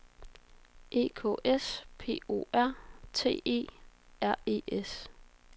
E K S P O R T E R E S